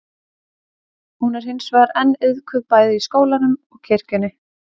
hún er hins vegar enn iðkuð bæði í skólanum og kirkjunni